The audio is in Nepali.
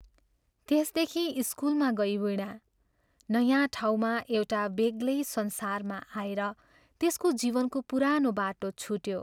त्यसदेखि स्कूलमा गई वीणा नयाँ ठाउँमा एउटा बेग्लै संसारमा आएर त्यसको जीवनको पुरानो बाटो छुट्यो।